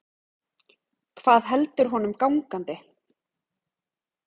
Hvað heldur honum gangandi?